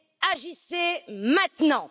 Agissez maintenant!